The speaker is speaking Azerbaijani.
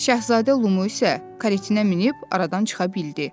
Şahzadə Lulu isə karetinə minib aradan çıxa bildi.